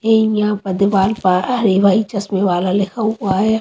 इ यहाँ चश्में वाला लिखा हुआ है.